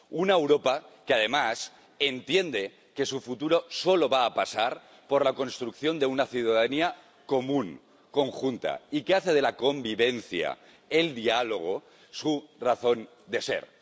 Una Europa que, además, entiende que su futuro solo va a pasar por la construcción de una ciudadanía común, conjunta y que hace de la convivencia, del diálogo, su razón de ser.